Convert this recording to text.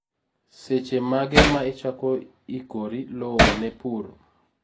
seche mage na ichako ikor lowo ne pur